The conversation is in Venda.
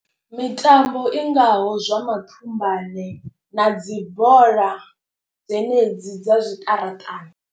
Mitambo i ngaho zwa mathumbane na dzi bola dzenedzi dza zwiṱaraṱani.